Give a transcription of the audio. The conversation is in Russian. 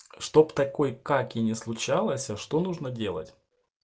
чтоб такой как и не случалось а что нужно делать